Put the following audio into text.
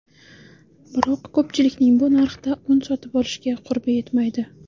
Biroq ko‘pchilikning bu narxda un sotib olishga qurbi yetmaydi.